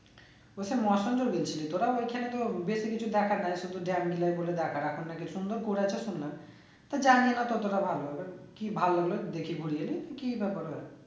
গিয়েছিলি তোরা ওইখানে তো গিয়েছিলি কিছু দেখার নাই শুধু dam গুলোই বলে দেখার আর কোনো কিছু সুন্দর করেছে শুনলাম তো জানি না ততটা ভাল লাগলো কি ভালো হলো দেখি বুঝিনি কি ব্যাপার হয়ে